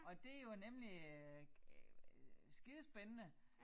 Og det jo nemlig øh skidespændende